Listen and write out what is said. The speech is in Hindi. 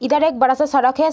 इधर एक बड़ा सा सड़क है ।